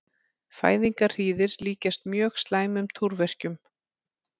Fæðingarhríðir líkjast mjög slæmum túrverkjum.